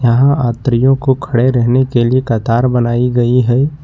यह यात्रियों को खड़े रहने के लिए कतार बनाई गई है।